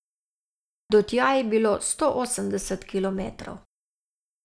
Do tja je bilo sto osemdeset kilometrov.